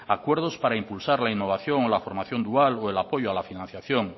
acuerdos para impulsar la innovación o la formación dual o el apoyo a la financiación